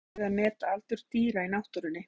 Erfitt getur verið að meta aldur dýra í náttúrunni.